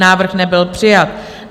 Návrh nebyl přijat.